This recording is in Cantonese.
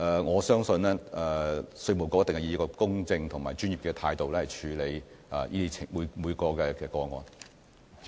我相信稅務局一定會以公正及專業的態度，處理每宗個案。